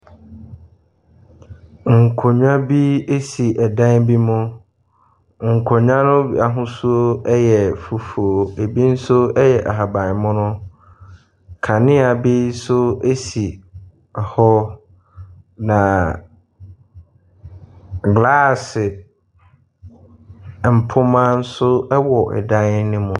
Nkonnwa bi si dan bi mu. Nkonnwa no ahosuo yɛ fufuo. Ebi nso yɛ ahaban mono. Kanea bi nso si hɔ, na glaase mpoma nso wɔ dan no mu.